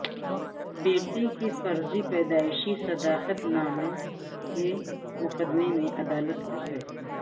بیٹے کے فرضی پیدائشی صداقتنامہ کے مقدمہ میں عدالت کا فیصلہ